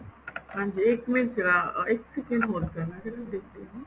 ਹਾਂਜੀ ਇੱਕ minute ਜਰਾ ਇੱਕ second hold ਕਰਨਾ ਜਰਾ ਦੇਖਦੀ ਆ